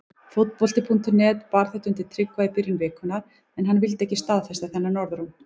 Fótbolti.net bar þetta undir Tryggva í byrjun vikunnar en hann vildi ekki staðfesta þennan orðróm.